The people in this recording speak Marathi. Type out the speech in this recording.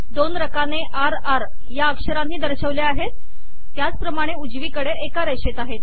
दोन रकाने र र या अक्षरांनी दर्शवले आहे त्याप्रमाणे उजवीकडे एका रेषेत आहेत